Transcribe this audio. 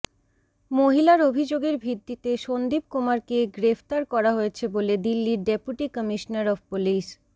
মহিলার অভিযোগের ভিত্তিতে সন্দীপ কুমারকে গ্রেফতার করা হয়েছে বলে দিল্লির ডেপুটি কমিশনার অফ পুলিস